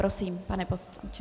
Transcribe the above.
Prosím, pane poslanče.